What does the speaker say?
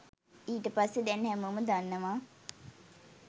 ඊට පස්සෙ දැන් හැමෝම දන්නව